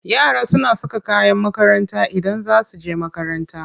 Yara suna saka kayan makaranta Idan za su je makaranta.